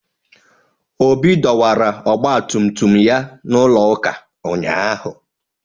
Obi dọwara ọgba tum tum ya n'ulo ụka ụnyahụ.